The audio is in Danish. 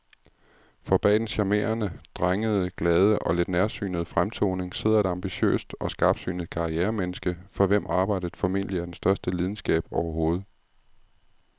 For bag den charmerende, drengede, glade og lidt nærsynede fremtoning sidder et ambitiøst og skarpsynet karrieremenneske, for hvem arbejdet formentlig er den største lidenskab overhovedet.